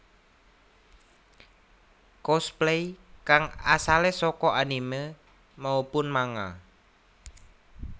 Cosplay kang asale saka anime maupun manga